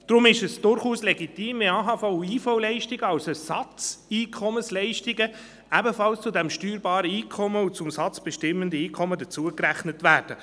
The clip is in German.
Deshalb ist es durchaus legitim, wenn AHV- und IV-Leistungen als Ersatzeinkommensleistungen ebenfalls zu diesem steuerbaren Einkommen und zum Satz bestimmenden Einkommen dazugerechnet werden.